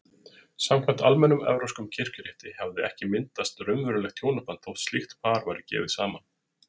Samkvæmt almennum evrópskum kirkjurétti hafði ekki myndast raunverulegt hjónaband þótt slíkt par væri gefið saman.